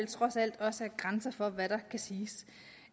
trods alt også er grænser for hvad der kan siges